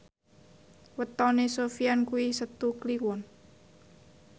wetone Sofyan kuwi Setu Kliwon